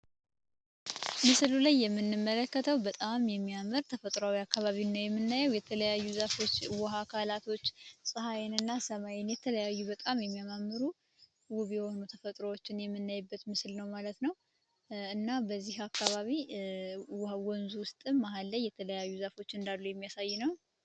ምስሉ ላይ የምንመለከተው በጣም የሚያመር ተፈጥሯዊ አካባቢን ነው የምናየው የተለያዩ ዛፎች ውሃ አካላቶች ፀሐይን እና ሰማይን የተለያዩ በጣም የሚያማምሩ ውቭ የሆኑ ተፈጥሮዎችን የምናይበት ምስል ነው ማለት ነው። እና በዚህ አካባቢ ወንዙ ውስጥ መሃል ላይ የተለያዩ ዛፎች እንዳሉ የሚያሳይ ነው።